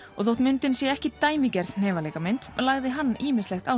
og þótt myndin sé ekki dæmigerð lagði hann ýmislegt á